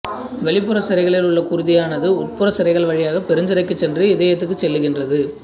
வெளிப்புறச் சிரைகளில் உள்ள குருதியானது உட்புறச் சிரைகள் வழியாகப் பெருஞ்சிரைக்குச் சென்று இதயத்துக்குச் செல்லுகின்றன